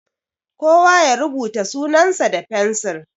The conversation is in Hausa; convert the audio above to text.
Kowa ya rubuta sunan sa da fensiri!